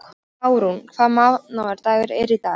Árún, hvaða mánaðardagur er í dag?